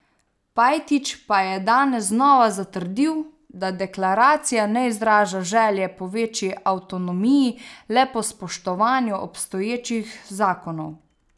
Pajtić pa je danes znova zatrdil, da deklaracija ne izraža želje po večji avtonomiji, le po spoštovanju obstoječih zakonov.